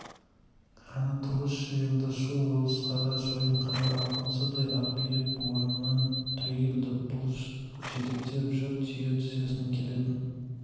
кәні тұрғызшы енді шу ойсылқара шойынқара алпамсадай арбиып орнынан түрегелді бұлыш жетектеп жүр түйе тізесінен келетін